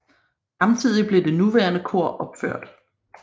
Samtidig blev det nuværende kor opført